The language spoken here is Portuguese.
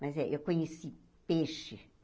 Mas eh eu conheci peixe.